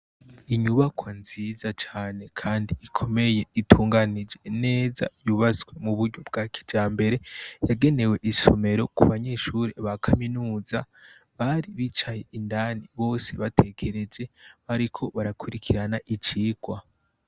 Inyubakwa nziza cane kandi ikomeye itunganije neza, yubatswe mu buryo bwa kijambere. Yagenewe isomero ku banyeshure ba kaminuza, bari bicaye indani bose batekereje bariko barakurikirana icirwa.